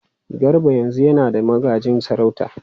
Garba yanzu yana da magajin sarauta.